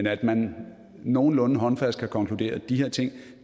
at man nogenlunde håndfast kan konkludere at de her ting